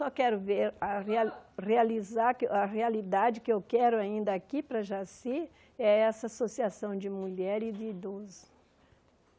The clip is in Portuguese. Só quero ver, a reali realizar a realidade que eu quero ainda aqui para Jaci é essa associação de mulher e de idoso.